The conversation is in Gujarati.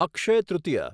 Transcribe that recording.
અક્ષય તૃતીય